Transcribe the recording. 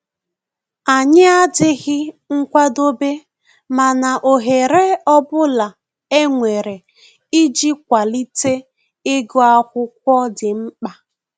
Anyi adịghị nkwadobe mana ohere ọbụla e nwere ịji kwalite ịgụ akwụkwọ dị mkpa